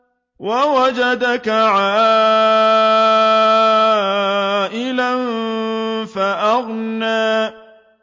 وَوَجَدَكَ عَائِلًا فَأَغْنَىٰ